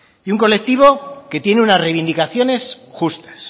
y un colectivo que tiene unas reivindicaciones justas